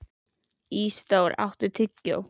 Ísidór, áttu tyggjó?